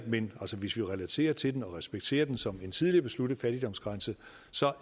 men hvis vi relaterer til den og respekterer den som en tidligere besluttet fattigdomsgrænse